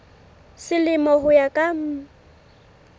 selemo ho ya ka mm